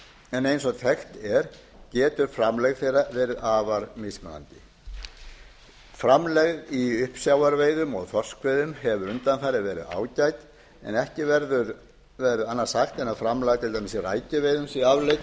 en eins og þekkt er getur framlegð meira verið afar mismunandi framlegð í uppsjávarveiðum og þorskveiðum hefur undanfarið verið ágæt en ekki verður annað sagt en framlag til til dæmis í rækjuveiðum sé afleitt eða hafi